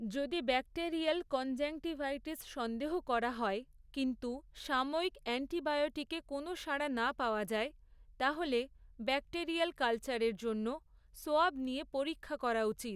যদি bacterial conjunctivitis সন্দেহ করা হয়, কিন্তু সাময়িক অ্যান্টিবায়োটিকে কোনও সাড়া না পাওয়া যায়, তাহলে ব্যাক্টেরিয়াল কালচারের জন্য, সোয়াব নিয়ে পরীক্ষা করা উচিত।